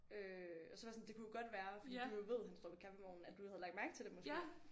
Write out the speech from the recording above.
Øh og så var jeg sådan det kunne jo godt være fordi du jo ved han står ved kaffevognen at du havde lagt mærke til det måske